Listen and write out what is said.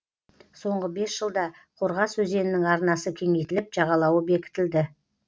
соңғы бес жылда қорғас өзенінің арнасы кеңейтіліп жағалауы бекітілді